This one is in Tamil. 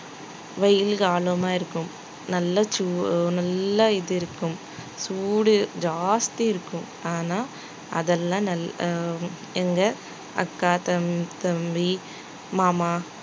வெயில் காலமா இருக்கும் நல்லா சூ~ இது இருக்கும் சூடு ஜாஸ்தி இருக்கும் ஆனா, அதெல்லாம் நல்லா ஆஹ் எங்க அக்கா தம்~ தம்பி மாமா